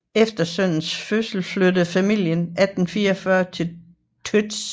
Efter sønnens fødsel flyttede familien i 1844 til Łódź